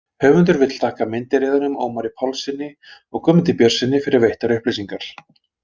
Höfundur vill þakka meindýraeyðunum Ómari Pálssyni og Guðmundi Björnssyni fyrir veittar upplýsingar.